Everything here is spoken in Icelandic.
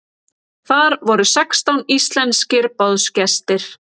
Þar voru sextán íslenskir boðsgestir.